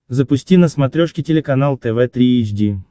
запусти на смотрешке телеканал тв три эйч ди